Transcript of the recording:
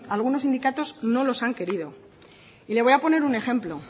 algunos sindicatos no los han querido y le voy a poner un ejemplo